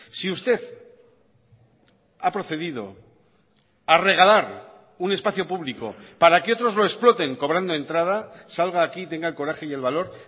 si usted ha procedido a regalar un espacio público para que otros lo exploten cobrando entrada salga aquí y tenga el coraje y el valor